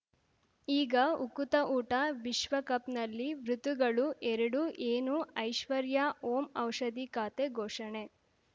ಈಗ ಉಕುತ ಊಟ ವಿಶ್ವಕಪ್‌ನಲ್ಲಿ ಋತುಗಳು ಎರಡು ಏನು ಐಶ್ವರ್ಯಾ ಓಂ ಔಷಧಿ ಖಾತೆ ಘೋಷಣೆ